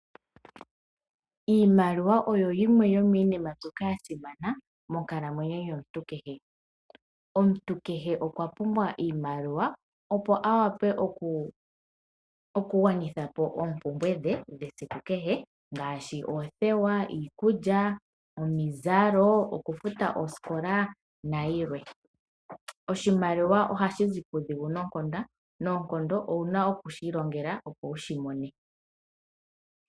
Iimaliwa oyo yimwe yominima mbyoka ya simana monkalamwenyo yomuntu kehe, omuntu kehe okwa pumbwa iimaliwa opo a wape oku gwanitha po oopumbwe dhe dhesiku kehe ngaashi; oothewa, iikulya, omizalo, okufuta osikola nayilwe, oshimaliwa ohashi zi pudhingu noonkondo, owuna oku shilongela opo wushimone.